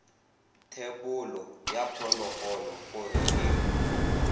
thebolo ya phologolo gore e